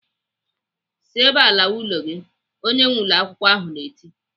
"Si ebe a lawa ụlọ gị!" Onye nwee ụlọakwụkwọ ahụ na-eti.